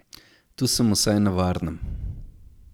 Tu sem vsaj na varnem.